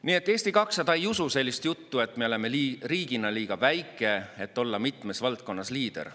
Nii et Eesti 200 ei usu sellist juttu, et me oleme riigina liiga väike, et olla mitmes valdkonnas liider.